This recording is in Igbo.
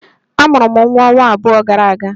A mụrụ m nwa ọnwa abụọ gara aga